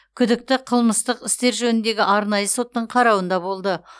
күдікті қылмыстық істер жөніндегі арнайы соттың қарауында болды